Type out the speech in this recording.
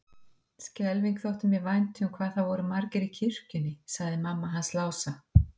Skelfing þótti mér vænt um hvað það voru margir í kirkjunni, sagði mamma hans Lása.